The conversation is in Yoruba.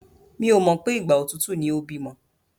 Mi ò mọ̀ pé ìgbà òtútù ni ó bímọ.